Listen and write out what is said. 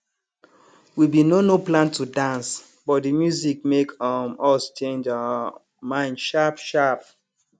we bin no no plan to dance but de music make um us change um mind sharp sharp